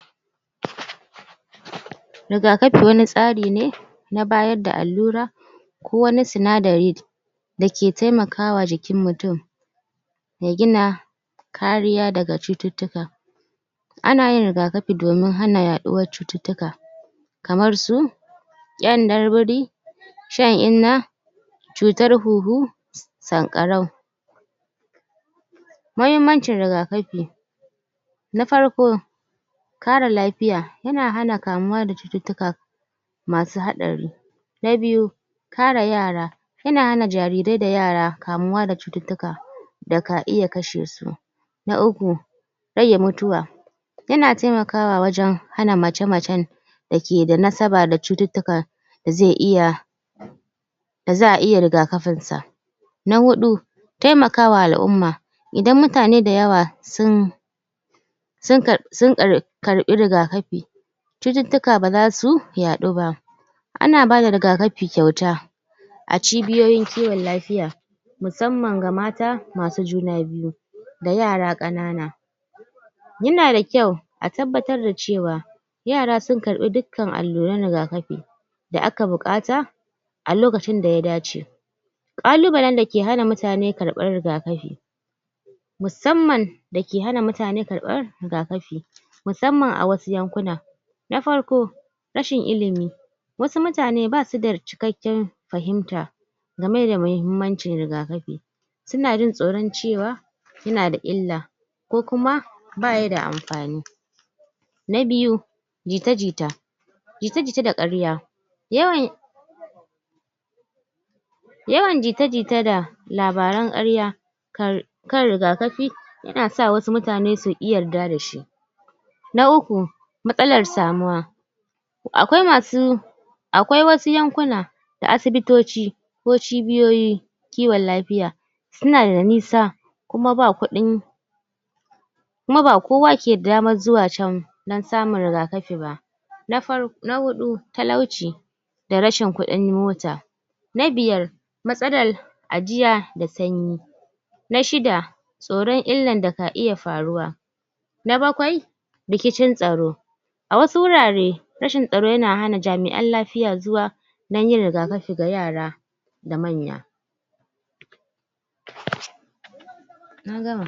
rigakafi wani tsari ne na bayarda allura ko wani sinadari dake taimakawa jikin mutum ya gina kariya daga cututtuka ana yin rigakafine domin hana yaduwan cututtuka kamar su kiyandan biri shan inna cutar huhu sankarau mahimmancin riga kafi na farko kara lafiya yana hana kamuwa da cututtuka masu hadari na biyu kare yara yana hana jarirai da yara kamuwa daga cututtuka daka iya kashesu na uku rage mutuwa yana taimakawa wajan hana mace macen dakeda nasaba da cututtuka daze iya da za'a iya riga kafinsa na hudu taimaka wa al'umma idan mutane dayawa sun sun kar kar karbi rigakafi cututtuka bazasu yaduba ana bada ragakafi kyauta acibiyoyin kiwon lafiya musamman ga mata masu juna biyu da yara kanana yanada kyau a tabbabtar da cewa yara sun karbi dukkan alluran rigakafi da aka bukata alokacin daya dace kalubalen dake hana mutane karban riga kafi musanman dake hana mutane karban rigakafi musamman a wasu yankuna nafarko rashin ilimi wasu mutane basuda cikakken fahimta gameda mahimmancin rigakafi sunajin tsoron cewa yanada illa ko kuma bayida amfani na biyu jita jita jita jita da karya yawan yawan jita jita da labaran karya kar kan rigakafi yanasa wasu mutane suki yarda dashi na uku matsalar samuwa akwai masu akwai wasu yankuna da asibitoci ko cibiyoyi kiwon lafiya sunada nisa kuma ba kudin kuma ba kowa keda daman dan samun rigakafiba nafar nahudu talauci da rashin kudin mota na biyar matsalar ajiya da sanyi na shida tsoron illar daka iya faruwa na bakwai rikicin tsaro awasu wurare rashin tsaro yana hana jami'an lafiya zuwa danyin rigakafi wa yara da manya na gama